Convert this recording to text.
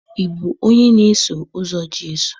Ị bụ onye na-eso ụzọ Jesu?